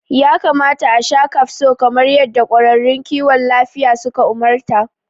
Ya kamata asha kafso kamar yadda ƙwararrun kiwon lafiya suka umarta